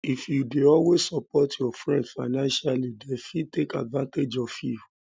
if you dey always support your friend financially them fit take advantage of you